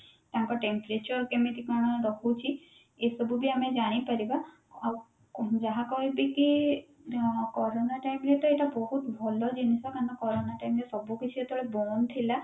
ତାଙ୍କ temperature କେମିତି କଣ ରହୁଛି ଏ ସବୁ ବି ଆମେ ଜାଣି ପାରିବା ଆଉ ଯାହା କହିବି କି କୋରୋନା time ରେ ତ ଏଇଟା ବହୁତ ଭଲ ଜିନିଷ କାରଣ କୋରୋନା time ରେ ସବୁ କିଛି ଯେତେବେଳେ ବନ୍ଦ ଥିଲା